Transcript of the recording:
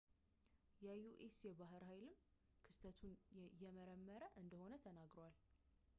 የዩኤስ የባህር ኃይልም ክስተቱን እየመረመሩ እንደሆነ ተናግረዋል